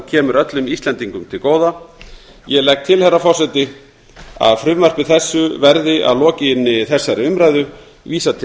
kemur öllum íslendingum til góða ég legg til herra forseti að frumvarpi þessu verði að lokinni þessari umræðu vísað til